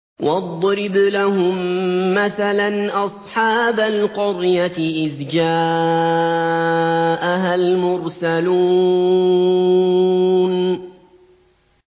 وَاضْرِبْ لَهُم مَّثَلًا أَصْحَابَ الْقَرْيَةِ إِذْ جَاءَهَا الْمُرْسَلُونَ